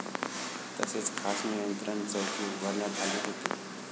तसेच खास नियंत्रण चौकी उभारण्यात आली होती.